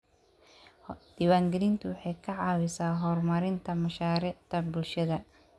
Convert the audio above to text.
Diiwaangelintu waxay ka caawisaa horumarinta mashaariicda bulshada.